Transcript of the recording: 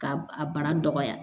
K'a a bara dɔgɔya